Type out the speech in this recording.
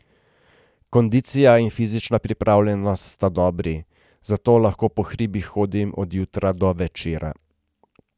Kondicija in fizična pripravljenost sta dobri, zato lahko po hribih hodim od jutra do večera.